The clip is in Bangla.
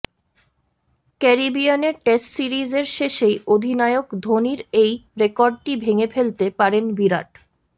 ক্যারিবিয়ানে টেস্ট সিরিজের শেষেই অধিনায়ক ধোনির এই রেকর্ডটি ভেঙে ফেলতে পারেন বিরাট